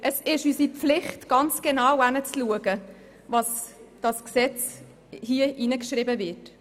Es ist unsere Pflicht, ganz genau hinzuschauen, was hier in das Gesetz geschrieben wird.